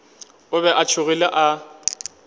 o be a tšhogile a